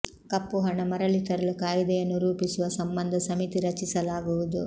ಕಪ್ಪು ಹಣ ಮರಳಿ ತರಲು ಕಾಯಿದೆಯನ್ನು ರೂಪಿಸುವ ಸಂಬಂಧ ಸಮಿತಿ ರಚಿಸಲಾಗುವುದು